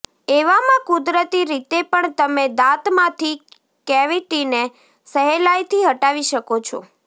એવામાં કુદરતી રીતે પણ તમે દાંતમાંથી કેવિટીને સહેલાઇથી હટાવી શકો છો